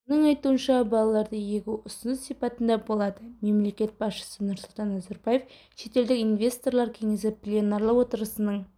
оның айтуынша балаларды егу ұсыныс сипатында болады мемлекет басшысы нұрсұлтан назарбаев шетелдік инвесторлар кеңесі пленарлы отырысының